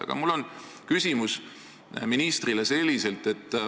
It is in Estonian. Aga mu küsimus ministrile on selline.